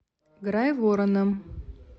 грайвороном